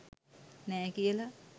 නෑ කියල